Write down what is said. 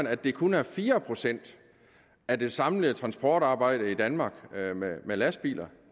at det kun er fire procent af det samlede transportarbejde i danmark med lastbiler